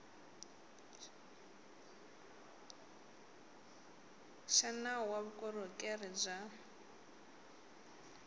xa nawu wa vukorhokeri bya